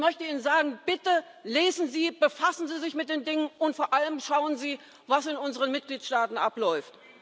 Ich möchte Ihnen sagen Bitte lesen Sie, befassen Sie sich mit den Dingen, und vor allem, schauen Sie, was in unseren Mitgliedstaaten abläuft!